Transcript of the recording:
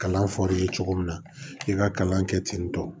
Kalan fɔr'i ye cogo min na k'i ka kalan kɛ ten tɔ